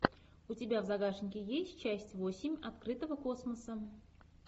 у тебя в загашнике есть часть восемь открытого космоса